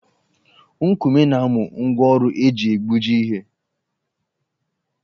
Nkume na-amụ ngwa ọrụ eji egbuji ihe